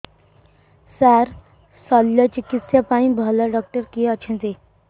ସାର ଶଲ୍ୟଚିକିତ୍ସା ପାଇଁ ଭଲ ଡକ୍ଟର କିଏ ଅଛନ୍ତି